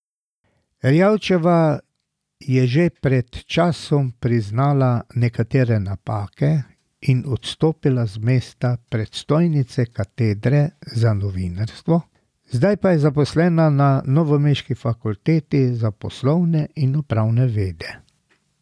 Erjavčeva je že pred časom priznala nekatere napake in odstopila z mesta predstojnice katedre za novinarstvo, zdaj pa je zaposlena na novomeški fakulteti za poslovne in upravne vede.